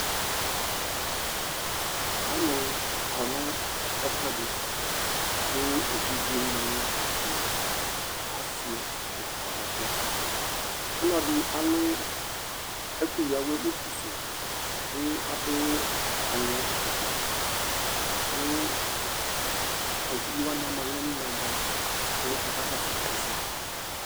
Ɔlu kɔ nu ɛfu ɛdi ku evidzeni nu asi lakɔ nu ɛfu yɛ Ɔlɔdi alu ɛkuya awɛ utu su yɛ ku adu aŋɛ afukpa laku evidzewani ama aɣla nu inaga ku aka kɔsu ɛsɛ